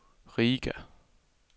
Riga